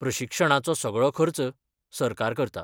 प्रशिक्षणाचो सगळो खर्च सरकार करता.